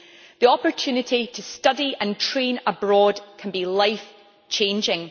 The opportunity to study and train abroad can be life changing.